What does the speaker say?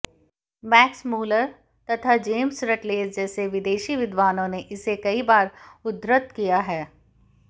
Max Muller तथा James Routledge जैसे विदेशी विद्वानों ने इसे कई बार उद्धृत किया है